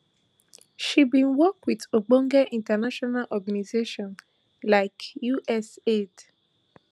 she bin work wit ogbonge international organizations like usaid